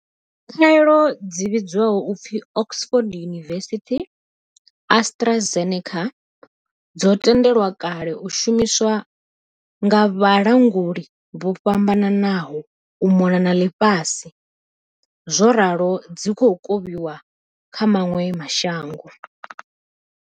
Khaelo dzi vhidzwaho u pfi Oxford University-AstraZe neca dzo no tendelwa kale u shumiswa nga vhalanguli vho fhambananaho u mona na ḽifhasi zworalo dzi khou kovhiwa kha maṅwe mashango.